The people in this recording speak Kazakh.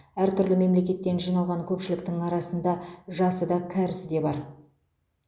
әртүрлі мемлекеттен жиналған көпшіліктің арасында жасы да кәрісі де бар